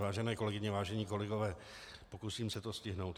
Vážené kolegyně, vážení kolegové, pokusím se to stihnout.